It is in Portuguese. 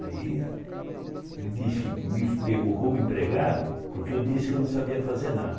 Aí ele disse que me pegou como empregado porque eu disse que não sabia fazer nada.